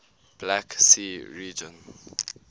black sea region